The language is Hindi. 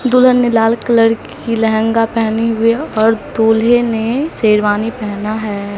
दुल्हन ने लाल कलर की लहंगा पहनी हुई और दूल्हे ने शेरवानी पहना है।